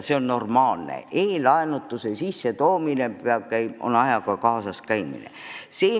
See on normaalne, e-laenutuse kasutamine on ajaga kaasas käimine.